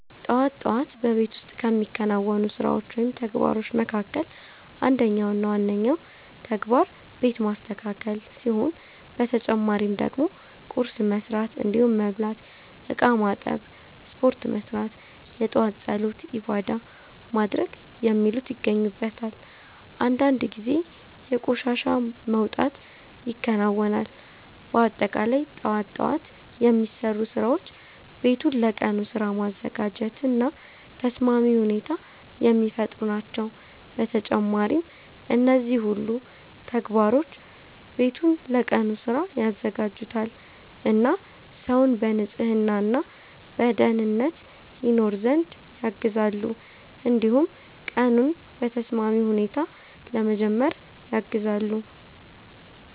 ጠዋት ጠዋት በቤት ውስጥ ከሚከናወኑ ስራዎች ወይም ተግባሮች መካከል አንደኛው እና ዋነኛው ተግባር ቤት ማስተካከል ሲሆን በተጨማሪ ደግሞ ቁርስ መስራት እንዲሁም መብላት፣ እቃ ማጠብ፣ ስፖርት መስራት፣ የጧት ፀሎት(ዒባዳ) ማድረግ የሚሉት ይገኙበታል። አንዳንድ ጊዜ የቆሻሻ መውጣት ይከናወናል። በአጠቃላይ ጠዋት ጠዋት የሚሰሩ ስራዎች ቤቱን ለቀኑ ስራ ማዘጋጀት እና ተስማሚ ሁኔታ የሚፈጥሩ ናቸው። በተጨማሪም እነዚህ ሁሉ ተግባሮች ቤቱን ለቀኑ ስራ ያዘጋጁታል እና ሰውን በንጽህና እና በደኅንነት ይኖር ዘንድ ያግዛሉ። እንዲሁም ቀኑን በተስማሚ ሁኔታ ለመጀመር ያግዛሉ።